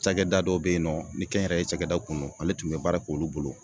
Cakɛda dɔ be yen nɔ ni kɛnyɛrɛye cakɛda kun don, ale tun be baara k'olu bolo.